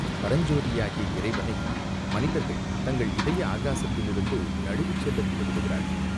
பரஞ்சோதியாகிய இறைவனை மனிதர்கள் தங்கள் இதய ஆகாசத்திலிருந்து நழுவிச் செல்ல விட்டு விடுகிறார்கள்.